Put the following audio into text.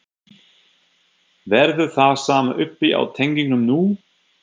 Verður það sama uppi á teningnum nú?